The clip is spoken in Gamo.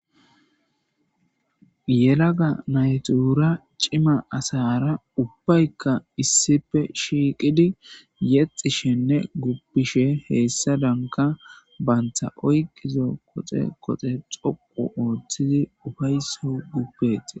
yelaga natura cima asara ubbaykka issippe shiiqidi yexishenne guppishe heessadanka baynta oyqizo qoxe qoxe xoqu ooththizi ufayso gupetes.